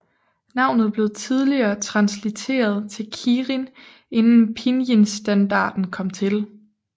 Navnet blev tidligere translitereret til Kirin inden pinyinstandarden kom til